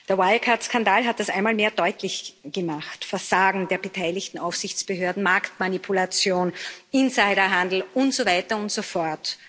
Der Wirecard Skandal hat es einmal mehr deutlich gemacht Versagen der beteiligten Aufsichtsbehörden, Marktmanipulation, Insiderhandel und so weiter und so fort.